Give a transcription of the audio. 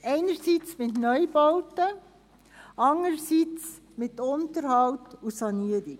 – Einerseits mit Neubauten, andererseits mit Unterhalt und Sanierung.